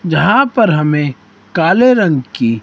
जहां पर हमें काले रंग की--